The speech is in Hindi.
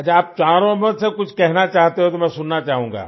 अच्छा आप चारों मुझसे कुछ कहना चाहते हो तो मैं सुनना चाहूँगा